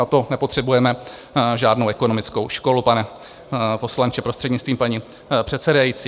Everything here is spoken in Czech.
Na to nepotřebujeme žádnou ekonomickou školu, pane poslanče, prostřednictvím paní předsedající.